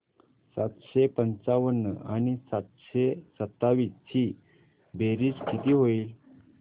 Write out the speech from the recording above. सातशे पंचावन्न आणि सातशे सत्तावीस ची बेरीज किती होईल